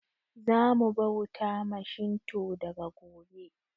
Zamu bauta ma Shinto daga gobe